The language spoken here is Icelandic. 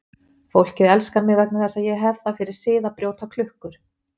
Fólkið elskar mig vegna þess að ég hef það fyrir sið að brjóta klukkur.